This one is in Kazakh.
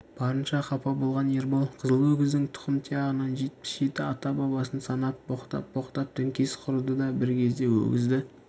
барынша қапа болған ербол қызыл өгіздің тұқым-тұғиянын жетпіс жеті ата-бабасын санап боқтап-боқтап діңкесі құрыды да бір кезде өгізді